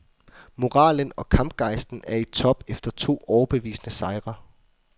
Moralen og kampgejsten er i top efter to overbevisende sejre.